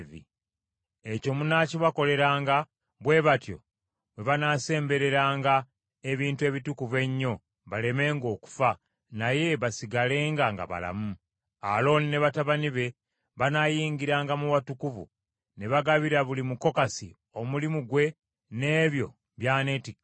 Ekyo munaakibakoleranga, bwe batyo bwe banaasembereranga ebintu ebitukuvu ennyo balemenga okufa, naye basigalenga nga balamu. Alooni ne batabani be banaayingiranga mu watukuvu ne bagabira buli Mukokasi omulimu gwe n’ebyo by’aneetikkanga.